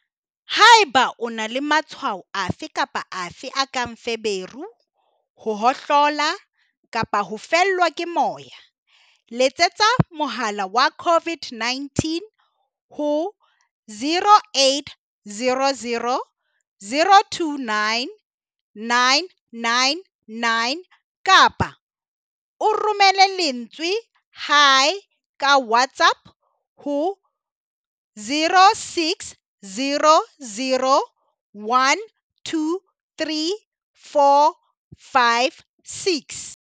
Haeba o na le ma-tshwao afe kapa afe a kang feberu, ho hohlola kapa ho fellwa ke moya, letsetsa mohala wa COVID-19 ho 0800 029 999 kapa o romele lentswe 'Hi' ka WhatsApp ho 0600 123 456.